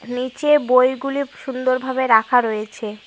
নীচে বইগুলি সুন্দরভাবে রাখা রয়েছে।